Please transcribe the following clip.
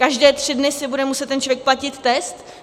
Každé tři dny si bude muset ten člověk platit test?